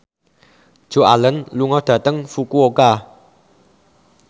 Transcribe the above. Joan Allen lunga dhateng Fukuoka